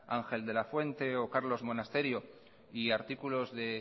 ángel de la fuente o carlos monasterio y artículos de